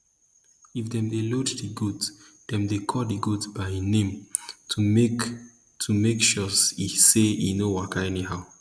if dem dey lead d goat dem dey call d goat by e name to make to make sure say e no waka anyhow